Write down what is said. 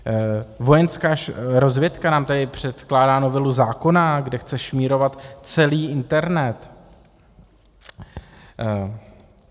Vojenská rozvědka nám tady předkládá novelu zákona, kde chce šmírovat celý internet.